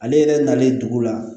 Ale yɛrɛ nalen dugu la